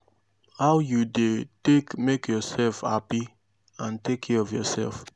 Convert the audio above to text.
how you dey take make yourself happy and take care of yourself?